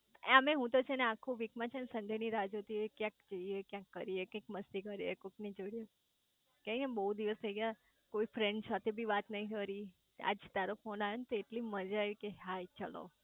આમેય હું તો આખું વીક માં છેને સન્ડે ની રાહ જોતી હોવ ક્યાંય જઇયે કંઈક કરીયે કંઈક મસ્તી કરીએ કોક ની જોડે કેમ કે બહુ દિવસ થઇ ગયા કોઈ ફ્રેન્ડ સાથે બી વાત નઈ કરી આજે ટેરો ફોને આયો તો એટલી મજા આઈ ગઈ કે હાય ચલો